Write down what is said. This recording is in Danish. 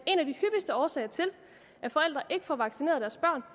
af årsager til at forældre ikke får vaccineret deres børn